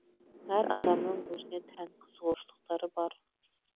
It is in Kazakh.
әр адамның өзіне тән қызығушылықтары бар